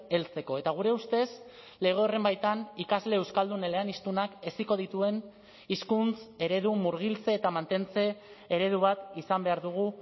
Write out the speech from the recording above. heltzeko eta gure ustez lege horren baitan ikasle euskaldun eleaniztunak heziko dituen hizkuntz eredu murgiltze eta mantentze eredu bat izan behar dugu